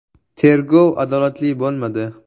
“Tergov adolatli bo‘lmadi”.